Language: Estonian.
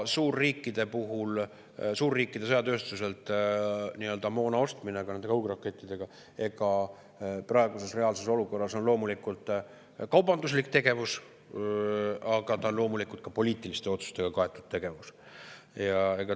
Suurriikide sõjatööstuselt moona ostmine, ka nende kaugrakettide ostmine, praeguses reaalses olukorras on loomulikult kaubanduslik tegevus, aga see on ka poliitiliste otsustega kaetud tegevus.